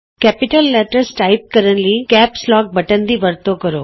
ਵੱਡੇ ਅੱਖਰ ਟਾਈਪ ਕਰਨ ਲਈ ਕੈਪਸ ਲੋਕ ਬਟਨ ਦੀ ਵਰਤੋਂ ਕਰੋ